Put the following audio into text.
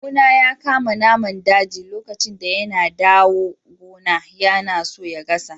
Kawu na ya kama naman daji lokacin da yana dawo gona. Yana so ya gasa shi.